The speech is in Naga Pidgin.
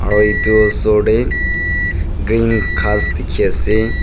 aru edu osor tae green ghas dikhiase.